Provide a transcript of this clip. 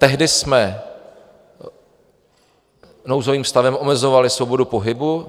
Tehdy jsme nouzovým stavem omezovali svobodu pohybu.